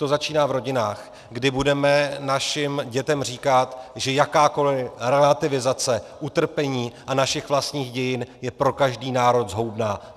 To začíná v rodinách, kdy budeme našim dětem říkat, že jakákoliv relativizace utrpení a našich vlastních dějin je pro každý národ zhoubná.